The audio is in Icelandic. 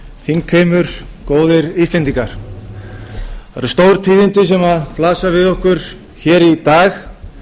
eru stór tíðindi sem blasa við okkur hér í dag en